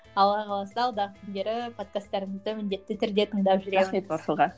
алла қаласа алдағы күндері подкастарыңызды міндетті түрде тыңдап жүремін рахмет марфуға